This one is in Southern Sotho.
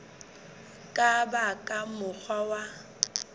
ka ba ka mokgwa wa